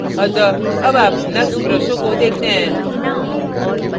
अतः अब आप knux ब्रशों को देखते हैं